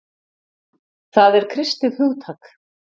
Það er kristið hugtak.